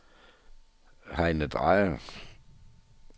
Heine Drejer